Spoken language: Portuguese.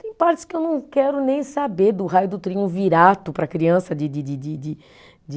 Tem partes que eu não quero nem saber, do Raio do virato para criança de de de de de de